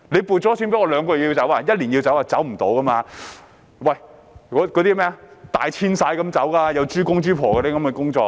搬遷豬場就像動物大遷徙般，要搬遷豬公、豬婆，有很多工作要做。